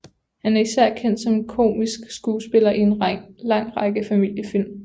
Han er især kendt som komisk skuespiller i en lang række familiefilm